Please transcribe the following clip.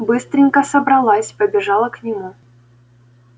быстренько собралась побежала к нему